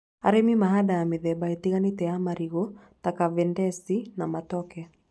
Arĩmi mahandaga mĩthemba ĩtiganĩte ya marigũ ta Kavendisi na Matoke